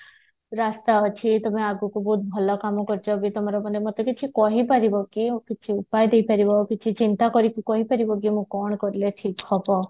ରାସ୍ତା ଅଛି ତମେ ଆଗକୁ ବି ଭଲ କାମ କରୁଛ ଏବେ ତମର ମାନେ ମତେ କିଛି କହି ପାରିବ କି କିଛି ଉପାୟ ଦେଇପାରିବ କିଛି ଚିନ୍ତା କରିକି କହି ପାରିବ ମୁଁ କଣ କଲେ ଠିକ ହବ